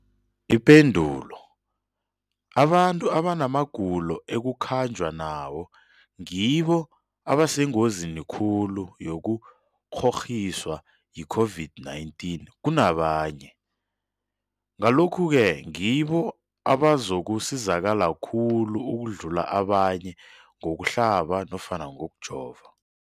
Ipendulo, abantu abanamagulo ekukhanjwa nawo ngibo abasengozini khulu yokukghokghiswa yi-COVID-19 kunabanye, Ngalokhu-ke ngibo abazakusizakala khulu ukudlula abanye ngokuhlaba nofana ngokujova.